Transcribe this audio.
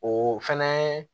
O fɛnɛ